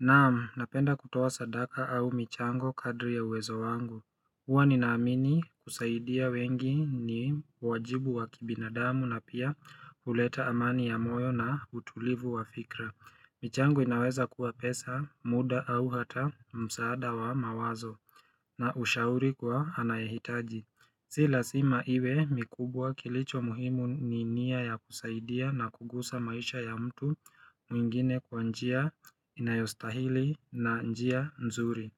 Naam, napenda kutoa sadaka au michango kadri ya uwezo wangu Huwa ninaamini kusaidia wengi ni wajibu wa kibinadamu na pia huleta amani ya moyo na utulivu wa fikra michango inaweza kuwa pesa, muda au hata msaada wa mawazo na ushauri kwa anayehitaji Si lazima iwe mikubwa kilicho muhimu ni nia ya kusaidia na kugusa maisha ya mtu mwingine kwa njia inayostahili na njia nzuri.